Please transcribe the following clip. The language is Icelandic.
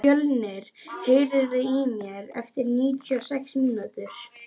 Fjölnir, heyrðu í mér eftir níutíu og sex mínútur.